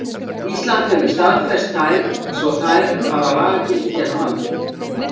Ísland hefur staðfest þær svo þær hafa lagagildi hér á landi.